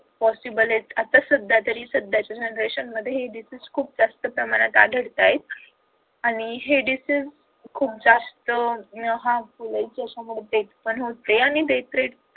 possible आहेत आत्ता सध्या तरी सध्याच्या generation मध्ये या disease खूप जास्त प्रमाणात आढळतायेत आणि हे deasease खूप जास्त अह harmful आहेत ज्याच्यामुळे ते पण आणि death rate